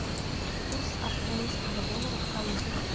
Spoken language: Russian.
курс австралийского доллара в калуге